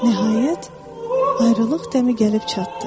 Nəhayət, ayrılıq dəmi gəlib çatdı.